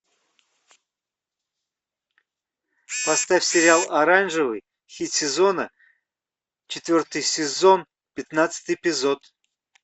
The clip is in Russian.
поставь сериал оранжевый хит сезона четвертый сезон пятнадцатый эпизод